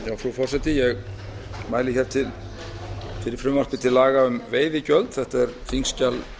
frú forseti ég mæli fyrir frumvarpi til laga um veiðigjöld þetta er þingskjal